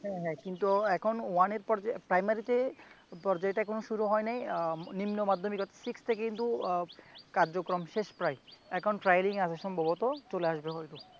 হ্যা হ্যা কিন্তু এখন ওয়ানের one প্রাইমারিতে পর্যায়ে এটা এখনো শুরু হয় নাই আহ নিম্নমাধ্যমিক অর্থাৎ six থেকে কিন্তু কার্যক্রম শেষ প্রায়। এখন ট্রায়ালিংয়ে আছে সম্ভবত চলে আসবে হয়তো